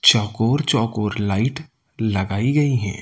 चकोर चकोर लाइट लगाई गई है।